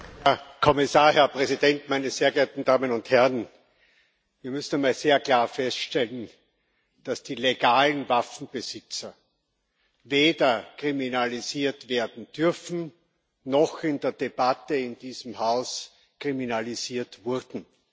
Herr Präsident, Herr Kommissar, meine sehr geehrten Damen und Herren! Wir müssen einmal sehr klar feststellen, dass die legalen Waffenbesitzer weder kriminalisiert werden dürfen noch in der Debatte in diesem Haus kriminalisiert wurden.